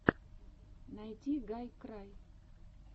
найти гайкрай